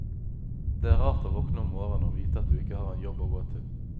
Det er rart å våkne om morgenen og vite at du ikke har en jobb å gå til.